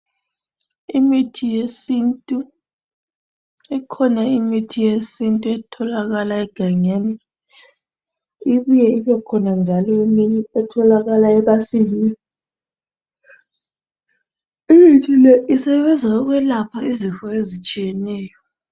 Imithi yesintu, ikhona imithi yesintu etholakala egangeni, ibuye ibekhona njalo eminye etholakala emasimini. Imithi le isebenza ukwelapha izifo ezitshiyeneyo.